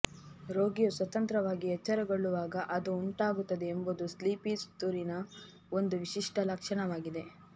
ರೋಗಿಯು ಸ್ವತಂತ್ರವಾಗಿ ಎಚ್ಚರಗೊಳ್ಳುವಾಗ ಅದು ಉಂಟಾಗುತ್ತದೆ ಎಂಬುದು ಸ್ಲೀಪಿ ಸ್ತೂರಿನ ಒಂದು ವಿಶಿಷ್ಟ ಲಕ್ಷಣವಾಗಿದೆ